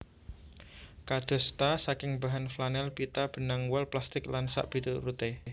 Kadosta saking bahan flanel pita benang wol plastik lan sakpituruté